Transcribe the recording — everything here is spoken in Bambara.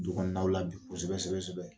Dukɔnɔlaw la bi kosɛbɛ sɛbɛ sɛbɛ